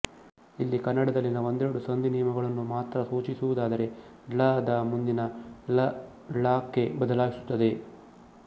ಇಲ್ಲಿ ಕನ್ನಡದಲ್ಲಿನ ಒಂದೆರಡು ಸಂಧಿ ನಿಯಮಗಳನ್ನು ಮಾತ್ರ ಸೂಚಿಸುವುದಾದರೆ ಳ ದ ಮುಂದಿನ ಲ ಳ ಕ್ಕೆ ಬದಲಾಯಿಸುತ್ತದೆ